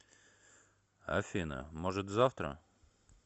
афина может завтра